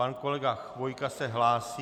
Pan kolega Chvojka se hlásí.